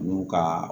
N'u ka